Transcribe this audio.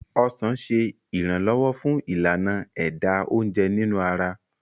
ọsán ṣe iranlọwọ fun Ìlànà ẹ̀dà oúnjẹ nínú ara